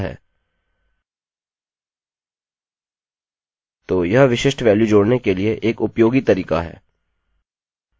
तो यह विशिष्ट वेल्यू जोड़ने के लिए एक उपयोगी तरीका है